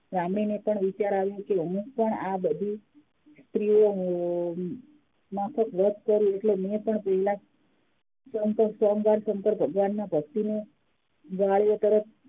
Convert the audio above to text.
આવ્યો કે હુંપણ આ બધી સ્ત્રીઓ માફક વ્રત કરું એટલે એયે પણ સોમવાર સંકર ભગવાન ની ભક્તિનો